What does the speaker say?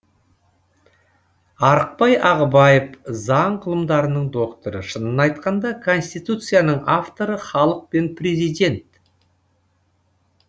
арықбай ағыбаев заң ғылымдарының докторы шынын айтқанда конституцияның авторы халық пен президент